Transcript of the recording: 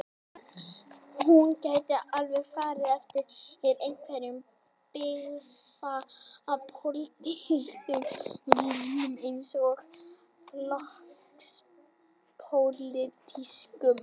Hún gæti alveg farið eftir einhverjum byggðapólitískum línum eins og flokkspólitískum.